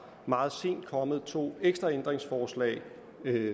meget sent kommet to ekstra ændringsforslag